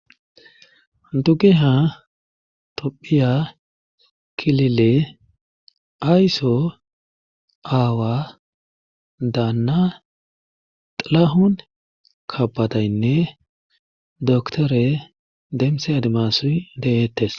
Dugeha topphiya kilile aysso aawa daanna xalahun kabataynne doktore demse adimas de7eettes